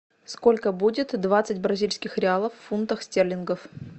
сколько будет двадцать бразильских реалов в фунтах стерлингов